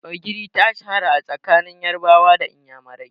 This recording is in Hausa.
Ogiri ta shahara a tsakanin Yarabawa da Inyamurani.